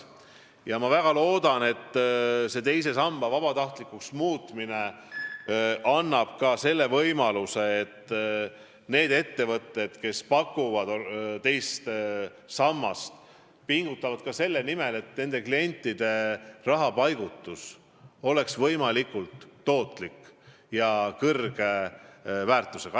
Ma väga loodan, et teise samba vabatahtlikuks muutmine tagab ka selle, et ettevõtjad, kes pakuvad teist sammast, pingutavad rohkem selle nimel, et nende klientide rahapaigutus oleks võimalikult tootlik ja suure väärtusega.